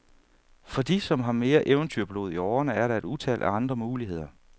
For de, som har mere eventyrblod i årene, er der et utal af andre muligheder.